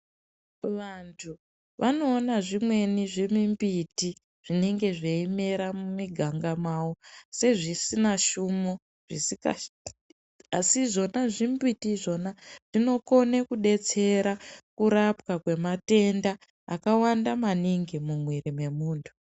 Vantu vanoona zvimweni zvimimbiti zvinenge zveimera mumiganga yawo sezvisina hlumo zvisina zvimweni zvimbiti izvona zvinokona kudetsera kurapwa kwematenda akawanda maningi mumwiri wemuntu.